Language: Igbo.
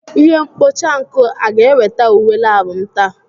Ihe mkpocha nkụ a ga-eweta uwe lab m taa?